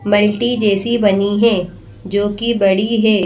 Multi जैसी बनी है जोकि बड़ी है।